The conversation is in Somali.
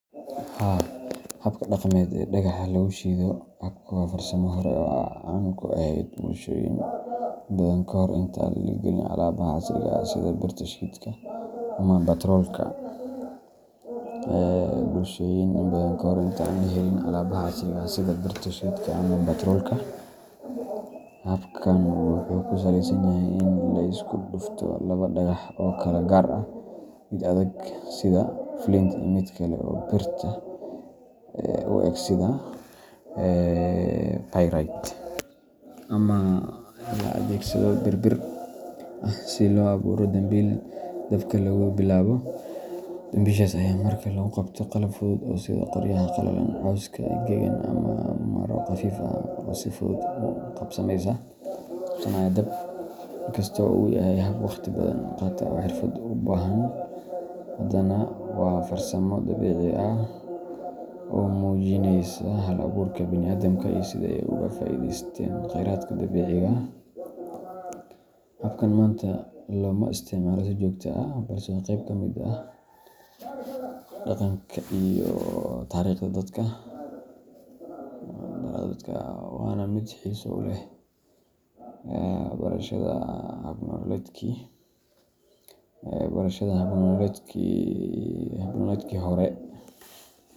Haa, habka dhaqameed ee dhagaxa lagu shido dabka waa farsamo hore oo caan ku ahayd bulshooyin badan ka hor intaan la helin alaabaha casriga ah sida birta shidka ama baatroolka. Habkan wuxuu ku salaysan yahay in la isku dhufto laba dhagax oo kala gaar ah mid adag sida flint iyo mid kale oo birta u eg sida pyrite ama la adeegsado bir bir ah si loo abuuro dambiil dabka lagu bilaabo. Dambiishaas ayaa markaa lagu qabtaa qalab fudud oo sida qoryaha qalalan, cawska engegan, ama maro khafiif ah oo si fudud u qabsanaya dab. Inkasta oo uu yahay hab waqti badan qaata oo xirfad u baahan, haddana waa farsamo dabiici ah oo muujinaysa hal-abuurka bini’aadamka iyo sida ay uga faa’iideysteen kheyraadka dabiiciga ah. Habkan maanta looma isticmaalo si joogto ah, balse waa qayb ka mid ah dhaqanka iyo taariikhda dadka, waana mid xiiso u leh barashada hab-nololeedkii hore.